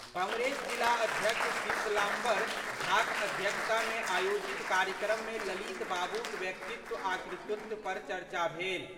कांग्रेस जिला अध्यक्ष शीतलाम्बर झाक अध्यक्षता में आयोजित कार्यक्रम मे ललित बाबूक व्यक्तित्व आ कृतित्व पर चर्चा भेल।